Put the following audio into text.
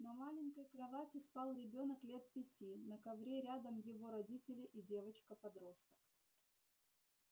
на маленькой кровати спал ребёнок лет пяти на ковре рядом его родители и девочка-подросток